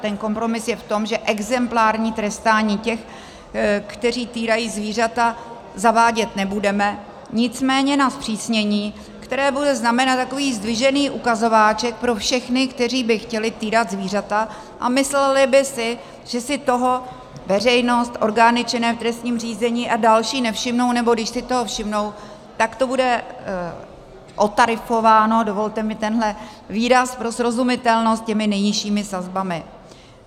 Ten kompromis je v tom, že exemplární trestání těch, kteří týrají zvířata, zavádět nebudeme, nicméně na zpřísnění, které bude znamenat takový zdvižený ukazováček pro všechny, kteří by chtěli týrat zvířata a mysleli by si, že si toho veřejnost, orgány činné v trestním řízení a další nevšimnou, nebo když si toho všimnou, tak to bude otarifováno - dovolte mi tenhle výraz pro srozumitelnost - těmi nejnižšími sazbami.